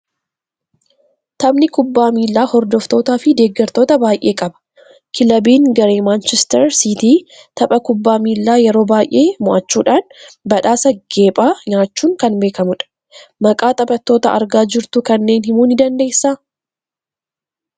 Taphni kubbaa miilaa hordoftootaa fi deeggartoota baay'ee qaba. Kilabiin garee Maanchister Siitii tapha kubbaa miilaa yeroo baay'ee moo'achuudhaan badhaasa geephaa nyaachuun kan beekamudha. Maqaa taphattoota argaa jrtuu kanneen himuu ni dandeessaa?